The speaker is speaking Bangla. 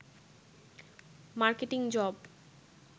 marketing job